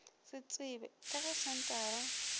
se tsebje ka ge senthara